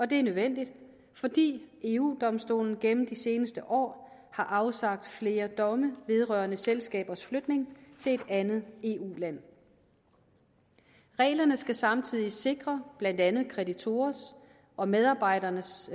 det er nødvendigt fordi eu domstolen gennem de seneste år har afsagt flere domme vedrørende selskabers flytning til et andet eu land reglerne skal samtidig sikre blandt andet kreditorers og medarbejderes